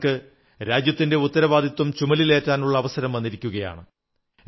അവർക്ക് രാജ്യത്തിന്റെ ഉത്തരവാദിത്വം ചുമലിലേറ്റാനുള്ള അവസരം വന്നിരിക്കയാണ്